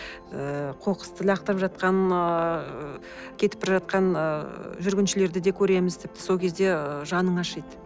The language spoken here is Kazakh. ыыы қоқысты лақтырып жатқан ыыы кетіп бара жатқан ыыы жүргіншілерді де көреміз тіпті сол кезде ыыы жаның ашиды